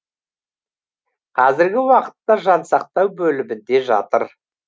қазіргі уақытта жансақтау бөлімінде жатыр